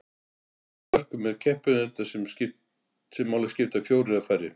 á flestum mörkuðum eru keppinautar sem máli skipta fjórir eða færri